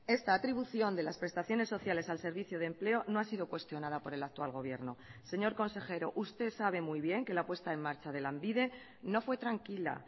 esta atribución de las prestaciones sociales al servicio de empleo no ha sido cuestionada por el actual gobierno señor consejero usted sabe muy bien que la puesta en marcha de lanbide no fue tranquila